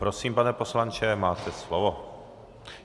Prosím, pane poslanče, máte slovo.